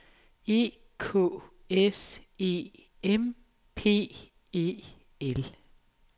E K S E M P E L